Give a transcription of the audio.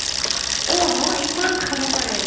অ', ন ইমান খাব পাৰে